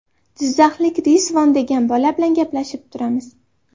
Jizzaxlik Rizvon degan bola bilan gaplashib turamiz.